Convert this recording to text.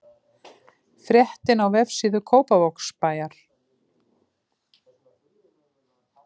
Fréttin á vefsíðu Kópavogsbæjar